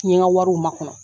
N ye n ka wariw makɔnɔ